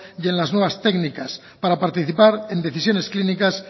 y en las nuevas técnicas para participar en decisiones clínicas